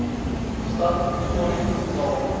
stad tshwane betaal